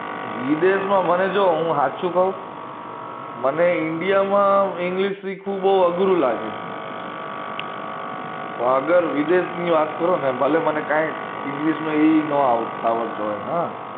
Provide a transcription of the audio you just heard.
વિદેશ માં મને જો હું હાચું કઉ મને india માં english શીખવું બઉ અઘરુ લાગે અગર વિદેશ ની વાત કરું ને ભલે મને કઈ english નો ઇ નો આવડતો હ